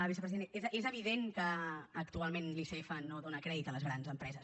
vicepresident és evident que actualment l’icf no dóna crèdit a les grans empreses